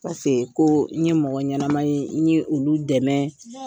Paseke ko n ye mɔgɔ ɲɛnama ye n ye olu dɛmɛ.